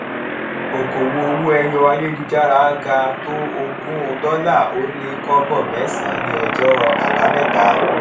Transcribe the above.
okòwò owó ẹyọ ayélujára ga tó ogún dólà ó lé kóbò mésànán ní ọjó àbáméta